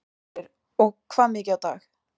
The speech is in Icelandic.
Sigríður: Og hvað mikið á dag?